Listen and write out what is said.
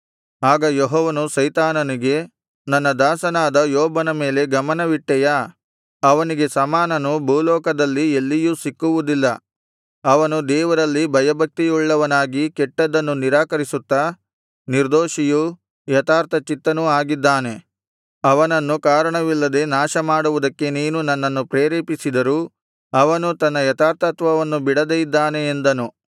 ಆಗ ಯೆಹೋವನು ಸೈತಾನನಿಗೆ ನನ್ನ ದಾಸನಾದ ಯೋಬನ ಮೇಲೆ ಗಮನವಿಟ್ಟೆಯಾ ಅವನಿಗೆ ಸಮಾನನು ಭೂಲೋಕದಲ್ಲಿ ಎಲ್ಲಿಯೂ ಸಿಕ್ಕುವುದಿಲ್ಲ ಅವನು ದೇವರಲ್ಲಿ ಭಯಭಕ್ತಿಯುಳ್ಳವನಾಗಿ ಕೆಟ್ಟದ್ದನ್ನು ನಿರಾಕರಿಸುತ್ತಾ ನಿರ್ದೋಷಿಯೂ ಯಥಾರ್ಥಚಿತ್ತನೂ ಆಗಿದ್ದಾನೆ ಅವನನ್ನು ಕಾರಣವಿಲ್ಲದೆ ನಾಶಮಾಡುವುದಕ್ಕೆ ನೀನು ನನ್ನನ್ನು ಪ್ರೇರೇಪಿಸಿದರೂ ಅವನು ತನ್ನ ಯಥಾರ್ಥತ್ವವನ್ನು ಬಿಡದೆ ಇದ್ದಾನೆ ಎಂದನು